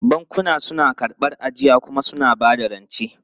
Bankuna suna karɓar ajiya kuma suna ba da rance.